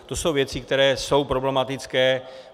To jsou věci, které jsou problematické.